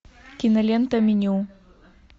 кинолента меню